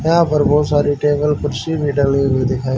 यहां पर बहोत सारी टेबल कुर्सी भी डली हुई दिखा--